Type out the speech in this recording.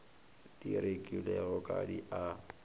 di rekilwego ga di a